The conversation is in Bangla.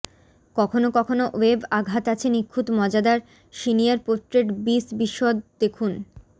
কখনও কখনও ওয়েব আঘাত আছে নিখুঁত মজাদার সিনিয়র পোর্ট্রেট বিশ বিশদ দেখুন